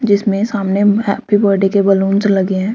जिसमे सामने happy birthday के बलूंस लगे हैं।